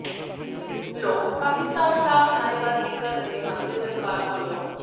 ਲੋਕ ਪਾਕਿਸਤਾਨ ਖਿਲਾਫ ਨਾਅਰੇਬਾਜ਼ੀ ਕਰ ਰਹੇ ਹਨ ਤੇ ਸਰਕਾਰ ਕੋਲੋਂ